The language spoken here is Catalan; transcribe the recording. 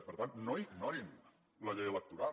per tant no ignorin la llei electoral